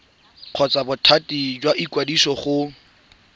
kgotsa bothati jwa ikwadiso go